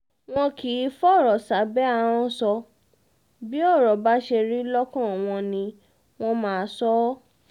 wọn kì í fọ̀rọ̀ sábẹ́ ahọ́n sọ bí ọ̀rọ̀ bá ṣe rí lọ́kàn wọn ni wọ́n máa sọ ọ́